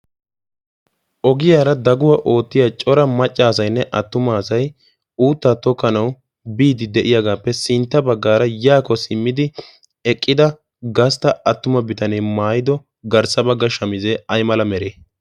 ogiyaara daguwaa oottiya cora maccaasainne attuma asay uuttaa tokkanawu biidi de'iyaagaappe sintta baggaara yaako simmidi eqqida gastta attuma bitanee maayido garssa bagga shamizee ay mala meree?